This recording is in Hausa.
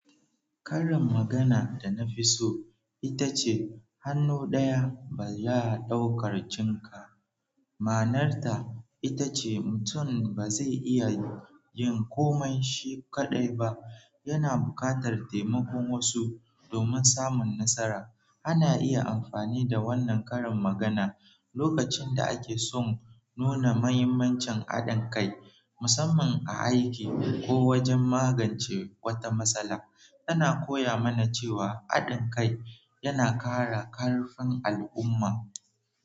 Karin magana da na fi so ita ce "Hannu ɗaya ba ya ɗaukar jinka", ma'anarta ita ce mutum ba zai iya yin komai shi kaɗai ba, yana buƙatar taimakon wasu domin samun nasara. Ana iya amfani da wannan karin magana lokacin da ake son nuna mahimmancin haɗin kai, musamman a aiki, koh wajen magance wata matsala. Tana koya mana cewa haɗin kai yana kara karfin al'umma.